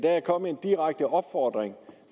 er kommet en direkte opfordring